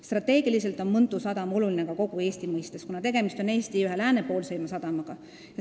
Strateegiliselt on Mõntu sadam oluline ka kogu Eesti mõistes, kuna tegemist on Eesti ühe läänepoolseima sadamaga.